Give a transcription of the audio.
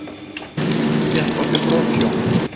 Fékk á sig brotsjó